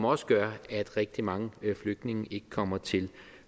også gør at rigtig mange flygtninge ikke kommer til